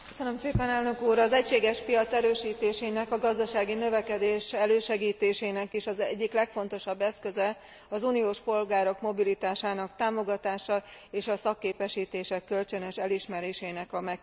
Az egységes piac erősítésének, a gazdasági növekedés elősegítésének is az egyik legfontosabb eszköze az uniós polgárok mobilitásának támogatása és a szakképesítések kölcsönös elismerésének a megkönnyítése.